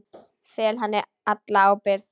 Fel henni alla ábyrgð.